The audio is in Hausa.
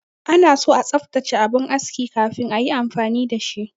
Anaso a tsaftace abin aski kafin ayi amfani da shi.